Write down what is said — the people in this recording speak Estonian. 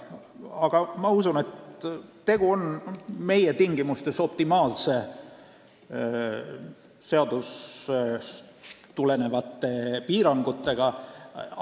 Aga ma usun, et tegu on meie tingimustes optimaalsete seadusest tulenevate piirangutega.